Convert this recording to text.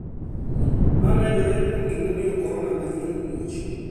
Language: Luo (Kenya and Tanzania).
ma medore kuom gimomiyo korona manyien omuoch